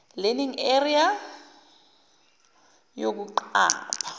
learning area yokuqapha